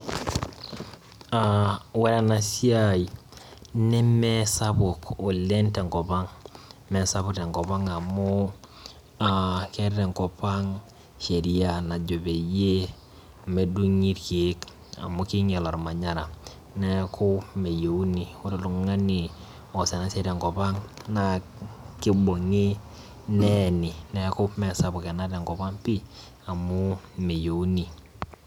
Ore ena siai neme sapuk oleng tenkopang amu keeta engop ang sheria najo peyie medungi ilkiek amu keinyal olmanyara neeku meyieuni. Ore oltung'ani oos ena siai tenkop ang naa kibungi neeni Neenu mee sapuk ena tenkop ang amu meyieuni